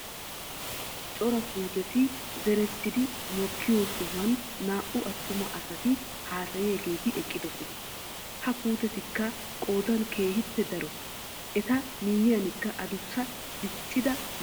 Cora puuteti zerettidi mokkiyoo sohuwaan naa"u attuma asati hasayiyaageti eqqidoosona. ha puteetikka qoodan keehippe daro. eta miyaanikka adussa diiccida mittatikka de'oosona.